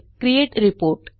create report